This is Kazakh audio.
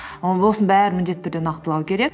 осының бәрін міндетті түрде нақтылау керек